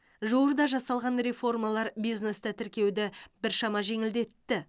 жуырда жасалған реформалар бизнесті тіркеуді біршама жеңілдетті